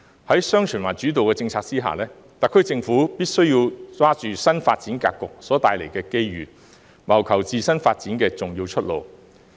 在"雙循環"主導政策下，特區政府必須把握新發展格局所帶來的機遇，謀求自身發展的重要出路。